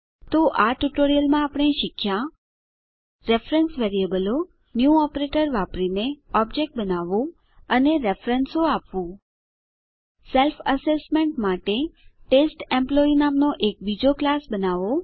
તો આ ટ્યુટોરીયલમાં આપણે શીખ્યા રેફરેન્સ વેરીએબલો ન્યૂ ઓપરેટર વાપરીને ઓબજેક્ટ બનાવવાનું અને રેફરેન્સો આપવાનું સ્વઆકારણી માટે ટેસ્ટેમ્પલોયી નામનો બીજો એક ક્લાસ બનાવો